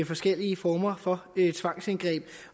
forskellige former for tvangsindgreb